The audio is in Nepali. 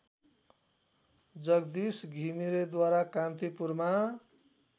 जगदीश घिमिरेद्वारा कान्तिपुरमा